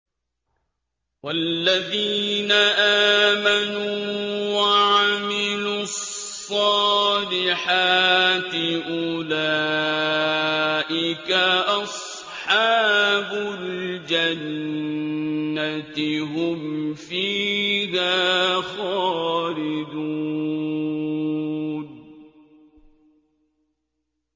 وَالَّذِينَ آمَنُوا وَعَمِلُوا الصَّالِحَاتِ أُولَٰئِكَ أَصْحَابُ الْجَنَّةِ ۖ هُمْ فِيهَا خَالِدُونَ